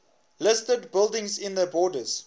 listed buildings in the borders